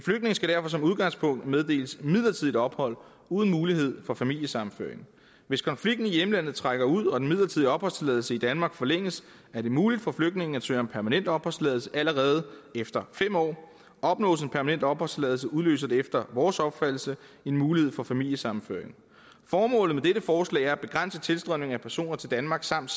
skal derfor som udgangspunkt meddeles midlertidig ophold uden mulighed for familiesammenføring hvis konflikten i hjemlandet trækker ud og den midlertidige opholdstilladelse i danmark forlænges er det muligt for flygtningen at søge om permanent opholdstilladelse allerede efter fem år opnås en permanent opholdstilladelse udløser det efter vores opfattelse en mulighed for familiesammenføring formålet med dette forslag er at begrænse tilstrømningen af personer til danmark samt